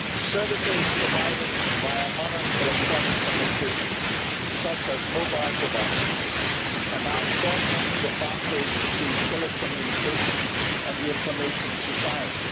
Services provided by modern electronic means of communication such as mobile devices are now straggling the boundaries between telecommunication and the information society.